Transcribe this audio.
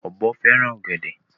Ọ̀bọ fẹ́ràn ọ̀gẹ̀dè.